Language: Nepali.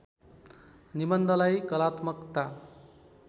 निबन्धलाई कलात्मकता